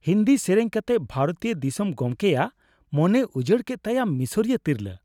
ᱦᱤᱱᱫᱤ ᱥᱮᱹᱨᱮᱹᱧ ᱠᱟᱛᱮ ᱵᱷᱟᱨᱚᱛᱤᱭᱚ ᱫᱤᱥᱚᱢ ᱠᱚᱢᱜᱮᱭᱟᱜ ᱢᱚᱱᱮᱭ ᱩᱡᱟᱹᱲ ᱠᱮᱫ ᱛᱷᱟᱭᱟ ᱢᱤᱥᱚᱨᱤᱭᱚ ᱛᱤᱨᱞᱟᱹ ᱾